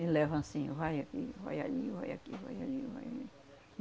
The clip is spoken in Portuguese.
Ele leva anssim, vai aqui, vai ali, vai aqui, vai ali, vai ali.